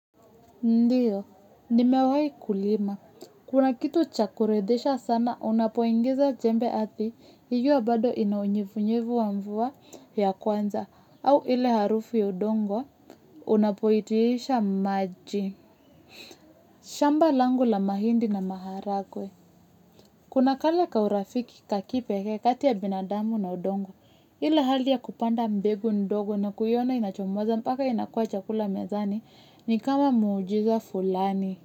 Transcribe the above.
Ndiyo, nimewayi kulima. Kuna kitu chakuridhisha sana, unapoingiza jembe athi, hijuwa bado inaunyevunyevu wa mvua ya kwanza, au ile harufu ya udongo, unapoitiisha maji. Shamba langu la mahindi na maharagwe. Kuna kale ka urafiki kakipeke kati ya binadamu na udongo, ila hali ya kupanda mbegu ndogo na kuiona inachomoza paka inakua chakula mezani ni kama muujiza fulani.